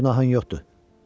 Sənin günahın yoxdur.